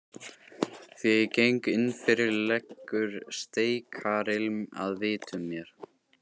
Þegar ég geng innfyrir leggur steikarilm að vitum mér.